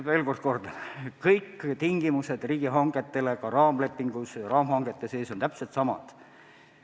Ma veel kord kordan, et kõik riigihangete tingimused – ka raamlepingus või raamhangete sees – on täpselt samad.